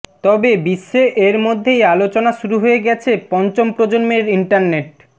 তবে বিশ্বে এর মধ্যেই আলোচনা শুরু হয়ে গেছে পঞ্চম প্রজন্মের ইন্টারনেট